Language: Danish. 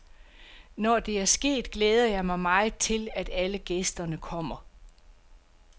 Når det er sket, glæder jeg mig meget til, at alle gæsterne kommer.